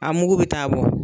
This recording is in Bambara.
A mugu bɛ taa bɔ